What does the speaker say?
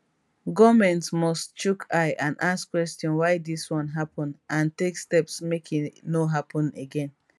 goment must chook eye and ask question why dis one happen and take steps make e no happen again